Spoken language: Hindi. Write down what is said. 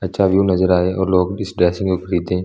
अच्छा व्यु नज़र आ रहा है ओर लोग भी इस ड्रेसिंग को खरीदें --